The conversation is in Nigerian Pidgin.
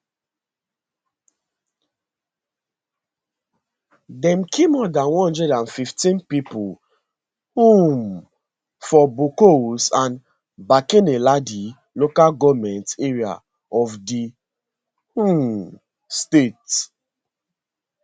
dem kill more dan one hundred and fifteen pipo um for bokkos and barkinladi local goment areas of di um state